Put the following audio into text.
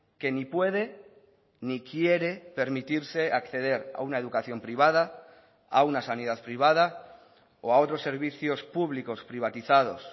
que ni puede ni quiere permitirse acceder a una educación privada a una sanidad privada o a otros servicios públicos privatizados